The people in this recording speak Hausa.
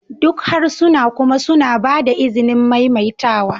Duk harsuna kuma suna ba da izinin maimaitawa